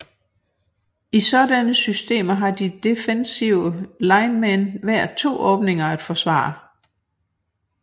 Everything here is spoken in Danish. I sådanne systemer har de defensive linemen hver to åbninger at forsvare